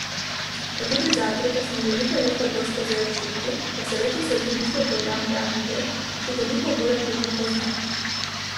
Pa tudi zato, ker smo že nekaj let kadrovsko zelo šibki, kar se letos z ukinitvijo programa javnih del še toliko bolj akutno pozna.